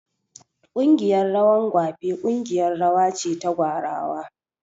Ƙungiyar rawan gwape ƙungiyar rawa ce ta gwarawa